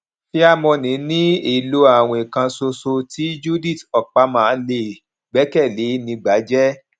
fairmoney ni èlò àwìn kan ṣoṣo tí judith okpama lè gbẹkẹlẹ ní gbájẹ